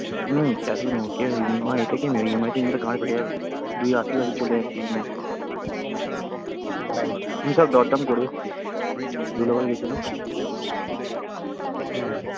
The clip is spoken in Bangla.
হম cash এই নেব কে ওই EMI তে কে নেবে EMI তে নিলে গাড় ফেটে যাবে দুই আশি ফাশি চলে যাচ্ছে EMI তে আমি সব দরদাম করে এসেছি ধুলাগড়ে গেছিলাম হম